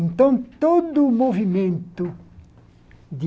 Então, todo o movimento de